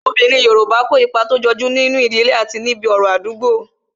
Obinrin Yorùbá kó ipa tó jọju nínú ìdílé àti níbi ọ̀rọ̀ Àdúgbo